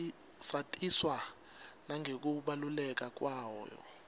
satiswa nangekubaluleka kwayo